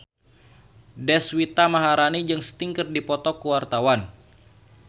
Deswita Maharani jeung Sting keur dipoto ku wartawan